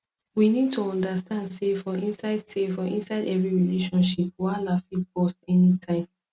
we need to understand sey for inside sey for inside every relationship wahala fit burst anytime